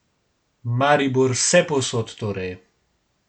Maribor vsepovsod torej ...